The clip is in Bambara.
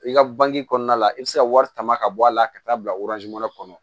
I ka bange kɔnɔna la i bɛ se ka wari tama ka bɔ a la ka taa bila kɔnɔ